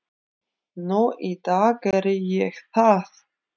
Nú í dag geri ég það.